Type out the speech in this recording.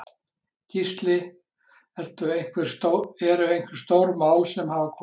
Gísli: Eru einhver stór mál sem hafa komið?